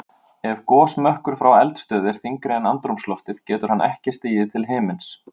Ef gosmökkur frá eldstöð er þyngri en andrúmsloftið getur hann ekki stigið til himins.